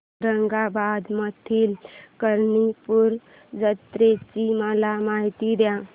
औरंगाबाद मधील कर्णपूरा जत्रेची मला माहिती दे